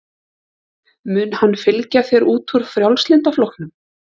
Mun hann fylgja þér út úr Frjálslynda flokknum?